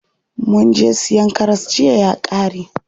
Munje siyan karas jiya ya ƙare.